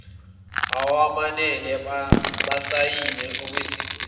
awamele basayine lesisekelo